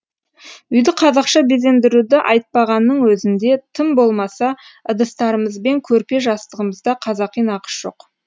үйді қазақша безендіруді айтпағанның өзінде тым болмаса ыдыстарымыз бен көрпе жастығымызда қазақи нақыш жоқ